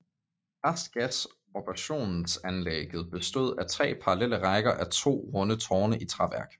Restgasabsorbtionsanleægget bestod af tre parallelle rækker á to runde tårne i træværk